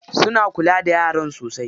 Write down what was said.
Suna kula da yaran sosai.